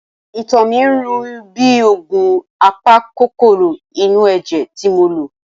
Ìtọ̀ mi ń rùn bíi òògùn apakòkòrò inú ẹ̀jẹ̀ tí mo lò.